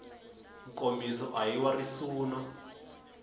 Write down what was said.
nkomiso a hi wa risuna